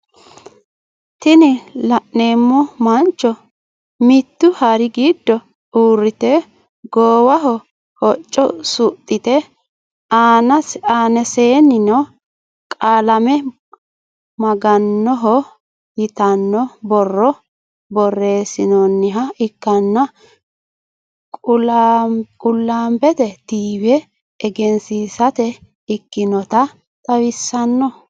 Tini la'neemo mancho mitu hari gido uurite goowaho hocco suxite aanasininno qullambe maganoho yitano boro borresinoniha ikkano qulaambe tv eggensisate ikkinota xawisanno